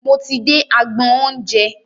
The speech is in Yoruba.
Mo ti dé agbọn oúnjẹ.